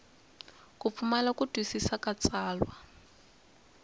pfumala ku twisisa ka tsalwa